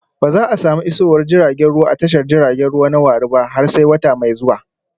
Ba za a samu isowar jiragen ruwa a tashar jiragen ruwa na warri ba har sai wata mai zuwa